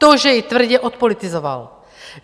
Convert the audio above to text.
To, že ji tvrdě odpolitizoval.